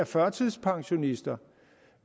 førtidspensionister